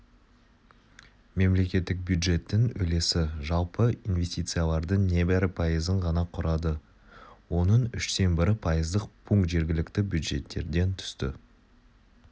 мемлекеттік бюджеттің үлесі жалпы инвестициялардың небәрі пайызын ғана құрады оның үштен бірі пайыздық пункт жергілікті бюджеттерден түсті